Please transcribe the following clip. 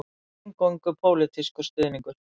Eingöngu pólitískur stuðningur